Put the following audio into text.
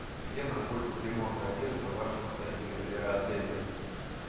где находится ремонт одежды в вашем отеле